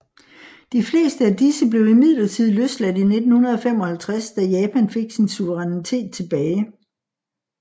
De fleste af disse blev imidlertid løsladt i 1955 da Japan fik sin suverænitet tilbage